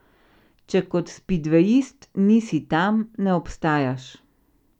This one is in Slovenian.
Če kot spidvejist nisi tam, ne obstajaš.